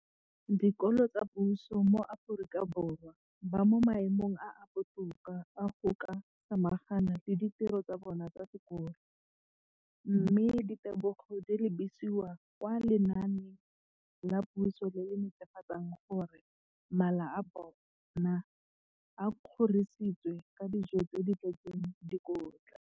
Dikolo tsa puso mo Aforika Borwa ba mo maemong a a botoka a go ka samagana le ditiro tsa bona tsa sekolo, mme ditebogo di lebisiwa kwa lenaaneng la puso le le netefatsang gore mala a bona a kgorisitswe ka dijo tse di tletseng dikotla.